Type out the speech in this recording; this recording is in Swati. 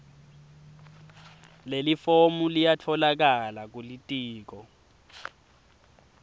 lelifomu liyatfolakala kulitiko